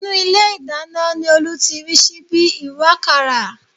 Inú ilé ìdáná ni Olú ti rí síbí ìwàkàrà